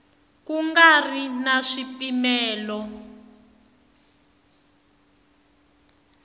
ku nga ri na swipimelo